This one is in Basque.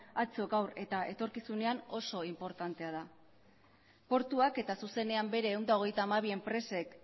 atzo gaur eta etorkizunean oso inportantea da portuak eta zuzenean bere ehun eta hogeita hamabi enpresek